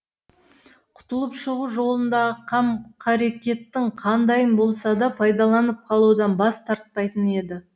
құтылып шығу жолындағы қам қарекеттің қандайын болса да пайдаланып қалудан бас тартпайтын еді